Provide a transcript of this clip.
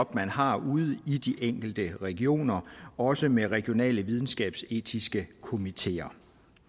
man har ude i de enkelte regioner også med regionale videnskabsetiske komiteer